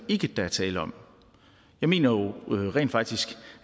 ikke der er tale om jeg mener jo rent faktisk